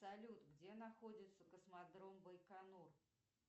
салют где находится космодром байконур